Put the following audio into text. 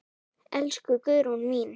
Elsku Guðrún mín.